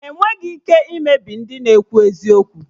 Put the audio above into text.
Enweghị ike imebi ndị na-ekwu eziokwu